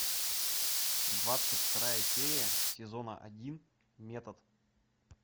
двадцать вторая серия сезона один метод